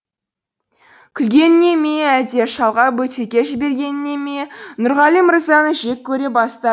күлгеніне ме әлде шалға бөтелке жібергеніне ме нұрғали мырзаны жек көре баста